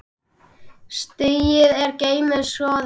Sigtið og geymið soðið.